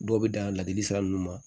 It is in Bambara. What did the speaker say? Dɔw bɛ dan ladili sira ninnu ma